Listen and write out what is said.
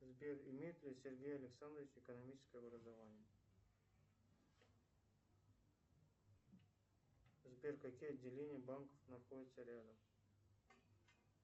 сбер имеет ли сергей александрович экономическое образование сбер какие отделения банков находятся рядом